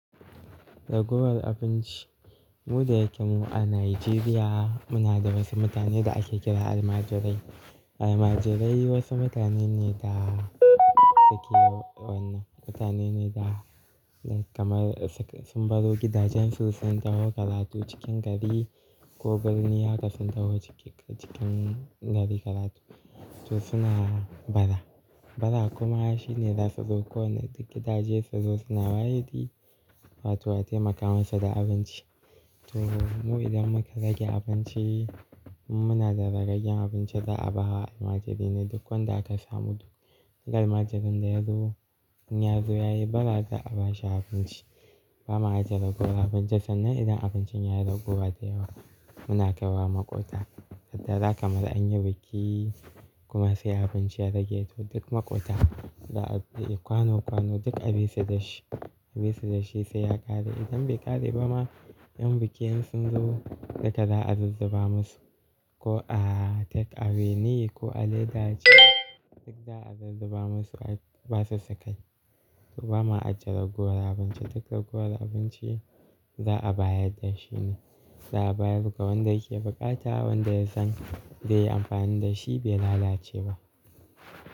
Raguwar abinci. Mu da yake mu a Najeriya muna da wasu mutane da ake kira almajirai. Almajirai wasu mutane ne da suke wannan, mutane ne da kamar sun baro gidajensu sun taho karatu cikin gari ko birni haka sun taho cikin gari karatu. To suna bara, bara kuma shine za su zo ko wane gida zai zo suna wahidi wato a taimaka masa da abinci. To mu idan muka rage abinci muna da zagagen abinci za a ba almajirai ne duk wanda aka samu duk almajirin da ya zo in ya zo ya yi bara za a bashi abinci. Ba ma ajiye raguwar abinci sannan idan abincin yayi raguwa da yawa muna kaiwa maƙota. Ta za kamar an yi biki kuma sai abinci ya rage toh duk maƙota za a, kwano kwano duk a biya su da shi, a biya su da shi sai ya ƙare idan bai ƙare ba ma ƴan bikin sun zo duka za a zuzzuba musu. Ko a takeaway na ko a leda ce duk za a zuzzuba musu ba su su kai. To ba ma ajiye raguwar abinci, duk raguwar abinci za a bayar da shine. Za a bayar ga wanda yake buƙata wanda ya san zai yi amfani da shi bai lalace ba.